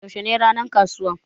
Yaushe ne ranan ƙasuwan?